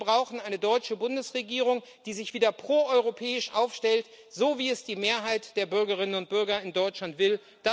Wir brauchen eine deutsche Bundesregierung, die sich wieder proeuropäisch aufstellt, so wie es die Mehrheit der Bürgerinnen und Bürger in Deutschland will.